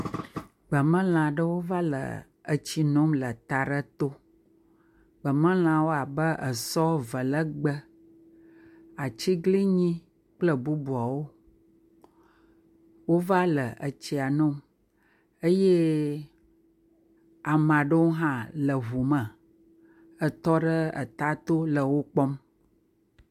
Gbemelãwo va le etsi nom le eta aɖe to, gbemelãwo abe esɔ velegbe, atiglinyi kple bubuawo, wova etsia nom eye ame aɖewo hã le ŋu me etɔ ɖe eta to le wo kpɔm.